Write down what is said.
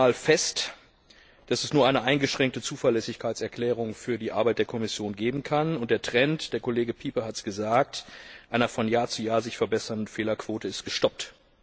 18. Mal fest, dass es nur eine eingeschränkte Zuverlässigkeitserklärung für die Arbeit der Kommission geben kann, und der Trend Kollege Pieper hat es gesagt einer sich von Jahr zu Jahr verbessernden Fehlerquote ist gestoppt.